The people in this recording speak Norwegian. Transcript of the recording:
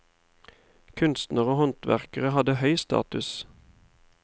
Kunstnere og håndverkere hadde høy status.